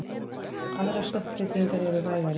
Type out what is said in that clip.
Aðrar stökkbreytingar eru vægari.